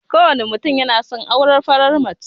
Kowane mutum yana son aurar farar mace.